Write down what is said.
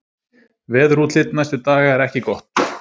Veðurútlit næstu daga er ekki gott